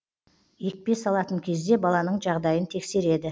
екпе салатын кезде баланың жағдайын тексереді